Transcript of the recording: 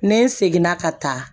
Ne seginna ka taa